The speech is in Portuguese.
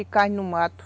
E carne no mato.